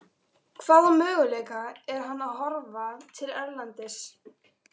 Hvaða möguleika er hann að horfa til erlendis?